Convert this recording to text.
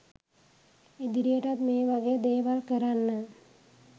ඉදිරියටත් මේ වගේ දේවල් කරන්න